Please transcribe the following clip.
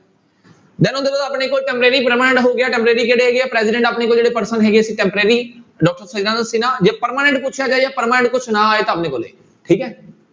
ਆਪਣੇ ਕੋਲ temporary, permanent ਹੋ ਗਿਆ temporary ਕਿਹੜੇ ਹੈਗੇ ਆ president ਆਪਣੇ ਕੋਲ ਜਿਹੜੇ person ਹੈਗੇ ਸੀ temporary ਜੇ permanent ਪੁੱਛਿਆ ਜਾਏ ਜਾਂ permanent ਕੁਛ ਨਾ ਆਏ ਤਾਂ ਠੀਕ ਹੈ।